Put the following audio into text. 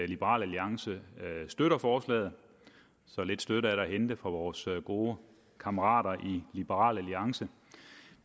liberal alliance støtter forslaget så lidt støtte er der at hente fra vores gode kammerater i liberal alliance